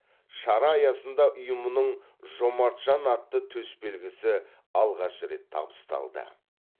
шара аясында ұйымның жомарт жан атты төсбелгісі алғаш рет табысталды